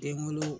Den wolo